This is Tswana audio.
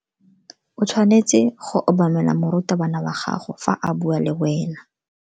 O tshwanetse go obamela morutabana wa gago fa a bua le wena.